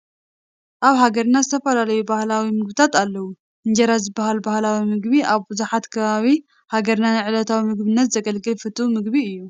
ኣብ ሃገራና ዝተፈላለዩ ባህላዊ ምግብታት ኣለዉ፡፡ እንጀራ ዝበሃል ባህላዊ ምግቢ ኣብ ብዙሓት ከባቢ ሓገርና ንዕለታዊ ምግብነት ዘግልግል ፍቱው ምቢቢ እዩ፡፡